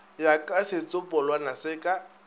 ya ka setsopolwana se ka